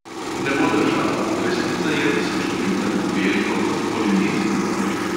Ne bo držalo – resnica je, da se čutim tako belko kot polinezijko.